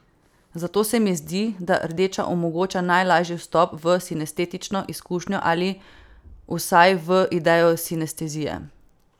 Zato se mi zdi, da rdeča omogoča najlažji vstop v sinestetično izkušnjo ali vsaj v idejo sinestezije.